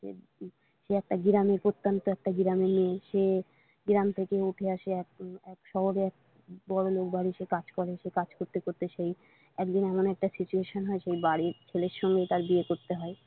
সে একটা গ্রামের প্রতান্ত একটা গ্রামের মেয়ে সে গ্রাম থেকে উঠে আসে এক শহরে এক বড়োলোক বাড়িতে সে কাজ করে সে কাজ করতে করতে সেই একদিন এমন একটা situation হয় সেই বাড়ির ছেলের সঙ্গে তার বিয়ে করতে হয়।